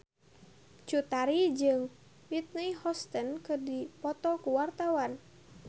Cut Tari jeung Whitney Houston keur dipoto ku wartawan